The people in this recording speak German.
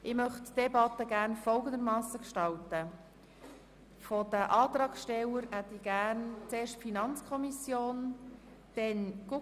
Die Patientenbeteiligung ist entsprechend anzupassen, hat sich aber weiterhin nach der finanziellen Leistungsfähigkeit der Leistungsempfängerinnen und Leistungsempfänger zu richten (Art. 25d SHV).